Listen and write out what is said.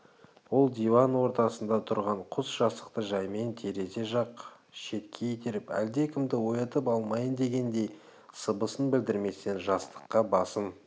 ол диван ортасында тұрған құс жастықты жаймен терезе жақ шетке итеріп әлдекімді оятып алмайын дегендей сыбысын білдірместен жастыққа басын